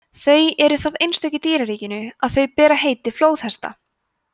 þau eru það einstök í dýraríkinu að þau bera heiti flóðhesta